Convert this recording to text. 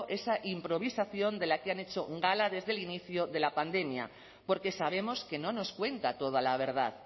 esa improvisación de la que han hecho gala desde el inicio de la pandemia porque sabemos que no nos cuenta toda la verdad